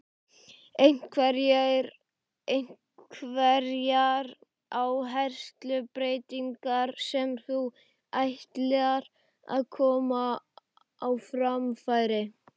Einhverjar áherslubreytingar sem þú ætlar að koma á framfæri?